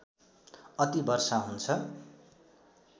अति वर्षा हुन्छ